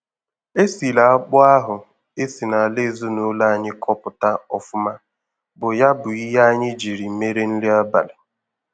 E siri akpụ ahụ e si n'ala ezinụlọ anyị kọpụta ọfụma bụ ya bụ ihe anyị jiri mere nri abalị.